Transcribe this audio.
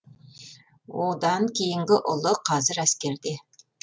одан кейінгі ұлы қазір әскерде